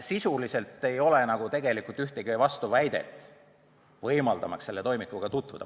Sisuliselt ei ole tegelikult ühtegi vastuväidet, miks mitte võimaldada toimikuga tutvumist.